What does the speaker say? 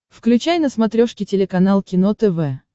включай на смотрешке телеканал кино тв